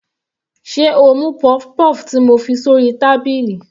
Sé o mú puff-puff ti mo fi sórí tábìlì.